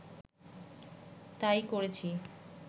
তাই করেছি